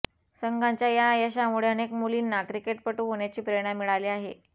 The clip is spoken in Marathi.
संघाच्या या यशामुळे अनेक मुलींना क्रिकेटपटू होण्याची प्रेरणा मिळाली आहे